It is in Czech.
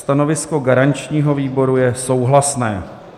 Stanovisko garančního výboru je souhlasné.